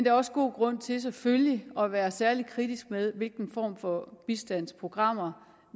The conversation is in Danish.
er også god grund til selvfølgelig at være særlig kritisk med hvilke former for bistandsprogrammer